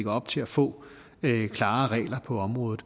op til at få klare regler på området